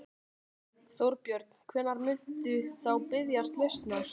Þorbjörn: Hvenær muntu þá biðjast lausnar?